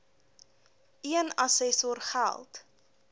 een assessor geld